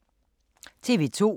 TV 2